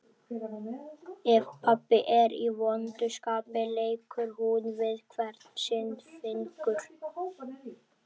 Ef pabbi er í vondu skapi leikur hún við hvern sinn fingur.